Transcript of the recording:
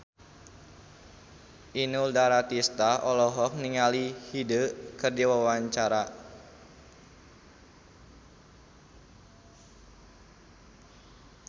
Inul Daratista olohok ningali Hyde keur diwawancara